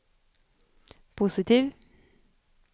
positiv